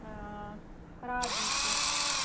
радуйте